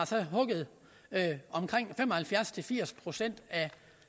så har hugget omkring fem og halvfjerds til firs procent af